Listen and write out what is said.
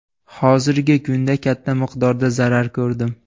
Hozirgi kunda katta miqdorda zarar ko‘rdim.